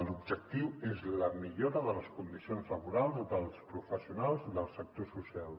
l’objectiu és la millora de les condicions laborals dels professionals del sector social